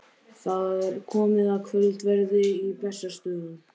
Það er komið að kvöldverði á Bessastöðum.